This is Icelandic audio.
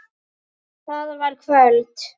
Það var kvöld.